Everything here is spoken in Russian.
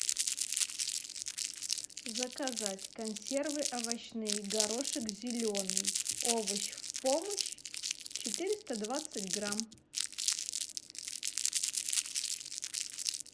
заказать консервы овощные горошек зеленый овощ в помощь четыреста двадцать грамм